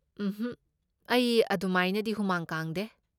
ꯎꯝꯍꯛ, ꯑꯩ ꯑꯗꯨꯃꯥꯏꯅꯗꯤ ꯍꯨꯃꯥꯡ ꯀꯥꯡꯗꯦ꯫